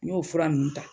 N y'o fura nunnu ta